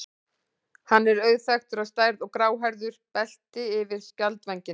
Hann er auðþekktur á stærð og gráhærðu belti yfir skjaldvængina.